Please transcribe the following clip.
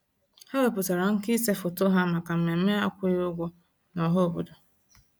Ha wepụtara nkà ịse foto ha maka mmemme akwụghị ụgwọ nọhaobodo.